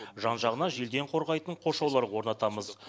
жан жағына желден қорғайтын қоршаулар орнатамыз